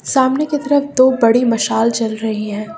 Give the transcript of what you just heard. सामने की तरफ दो बड़ी मशाल जल रही हैं।